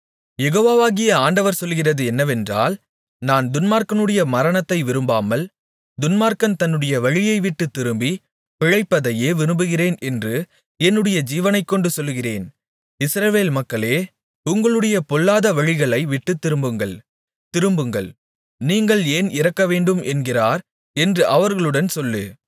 யெகோவாகிய ஆண்டவர் சொல்லுகிறது என்னவென்றால் நான் துன்மார்க்கனுடைய மரணத்தை விரும்பாமல் துன்மார்க்கன் தன்னுடைய வழியை விட்டுத் திரும்பிப் பிழைப்பதையே விரும்புகிறேன் என்று என்னுடைய ஜீவனைக்கொண்டு சொல்லுகிறேன் இஸ்ரவேல் மக்களே உங்களுடைய பொல்லாத வழிகளை விட்டுத் திரும்புங்கள் திரும்புங்கள் நீங்கள் ஏன் இறக்கவேண்டும் என்கிறார் என்று அவர்களுடன் சொல்லு